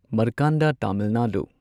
ꯃꯔꯀꯥꯟꯗꯥ Tamil Nadu